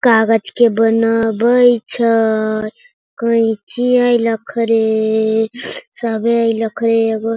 कागज के बनाबै छय कैयची अय लखरे सबे लखरे एगो --